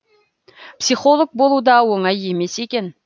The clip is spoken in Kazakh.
психолог болу да оңай емес екен